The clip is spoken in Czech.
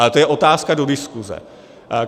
Ale to je otázka do diskuse.